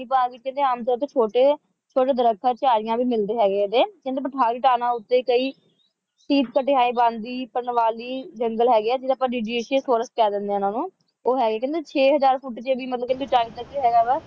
ਤੇ ਭਾਗ ਵਿੱਚ ਆਮ ਤੌਰ ਤੇ ਛੋਟੇ ਛੋਟੇ ਦਰਖਤ ਝਾੜੀਆਂ ਵੀ ਮਿਲਦੇ ਹੈਗੇ ਕਹਿੰਦੇ ਪਠਾਰੀ ਥਾਵਾਂ ਉੱਤੇ ਕਈ ਤੀਰਥ ਪਠਿਆਲੇ ਵੰਨ ਦੇ ਪਨਵਾਲੀ ਜੰਗਲ ਹੈਗੇ ਹੈ ਜਿਨ੍ਹਾਂ ਨੂੰ ਜੁਡੀਸ਼ਾਸ ਥੋਰਸ ਕਹਿ ਦਿੰਦੇ ਹਾਂ ਉਨ੍ਹਾਂਨੂੰ ਉਹ ਹੈਗੇ ਉਹ ਕਹਿੰਦੇ ਛੇ ਹਜ਼ਾਰ ਫੁੱਟ ਵੀ ਜੇ ਟਾਈਮ ਤੇ ਕਿਹਾ ਵ